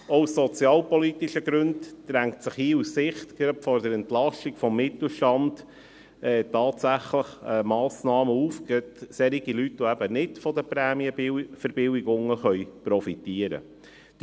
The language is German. Auch aus sozialpolitischen Gründen drängen sich aus Sicht der Entlastung des Mittelstandes Massnahmen auf, gerade für Leute, die nicht von den Prämienverbilligungen profitieren können.